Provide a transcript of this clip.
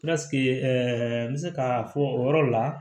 n bɛ se k'a fɔ o yɔrɔ la